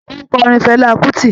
Ó ń kọrin Fela Kuti